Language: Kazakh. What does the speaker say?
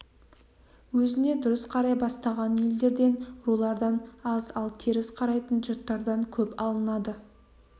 өзіне дұрыс қарай бастаған елдерден рулардан аз ал теріс қарайтын жұрттан көп алынады